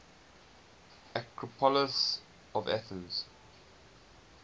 acropolis of athens